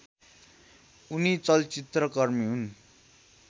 उनी चलचित्रकर्मी हुन्